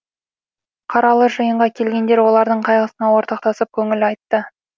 қаралы жиынға келгендер олардың қайғысына ортақтасып көңіл айтты